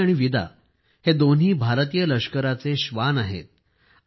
Sophie आणि Vida हे दोन्ही भारतीय लष्कराचे श्वान आहेत